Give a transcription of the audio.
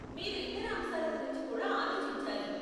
మీరు ఇతర అంశాల గురించి కూడా ఆలోచించాలి.